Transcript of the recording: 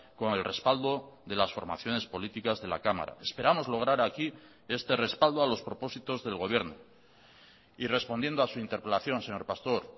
con el respaldo de las formaciones políticas de la cámara esperamos lograr aquí este respaldo a los propósitos del gobierno y respondiendo a su interpelación señor pastor